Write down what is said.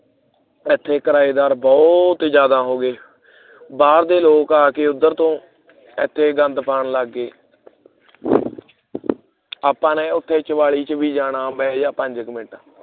ਏਥੇ ਕਿਰਾਏਦਾਰ ਬਹੁਤ ਜ਼ਿਆਦਾ ਹੋ ਗਏ ਬਾਹਰ ਦੇ ਲੋਕ ਆ ਕੇ ਉਦਰ ਤੋਂ ਏਥੇ ਗੰਦ ਪਾਉਣ ਲਗ ਪਏ ਆਪਾਂ ਨੇ ਉੱਥੇ ਚਬਾਲੀ ਦੇ ਵਿੱਚ ਵੀ ਜਾਣਾ ਬਹਿਜਾ ਪੰਜ ਕੁ minute